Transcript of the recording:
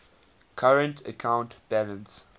current account balance